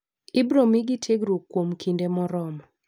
Ibiro mi gi tiegruok kuom kuom kinde morormo.